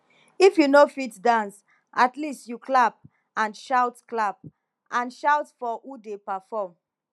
if you no fit dance at least you clap and shout clap and shout for who dey perform